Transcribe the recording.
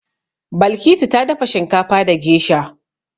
Balkisu ta dafa shinkafa da gesha.